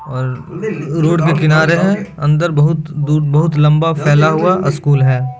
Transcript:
और रोड के किनारे है। अन्दर बहोत दूर बहोत लम्बा फैला हुआ अस्कूल है।